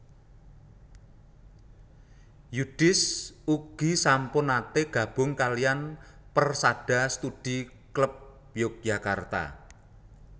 Yudhis ugi sampun nate gabung kaliyan Persada Studi Klub Yogyakarta